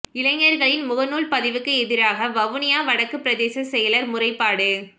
இளைஞர்களின் முகநூல் பதிவுக்கு எதிராக வவுனியா வடக்கு பிரதேச செயலர் முறைப்பாடு